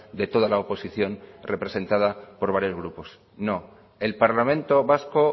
de toda la oposición representada por varios grupos no el parlamento vasco